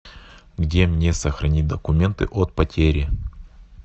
где мне сохранить документы от потери